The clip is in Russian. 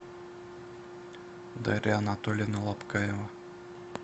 дарья анатольевна лобкаева